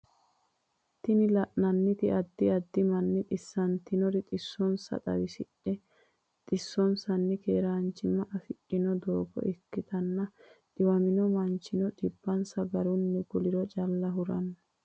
Tini lananiti adid adid manni tesannitinore tesonisa tawisidhe tiwnisani keranchima afidhano dogo ikitana tiwamino manchino tibase garunni kuliro calla hurano.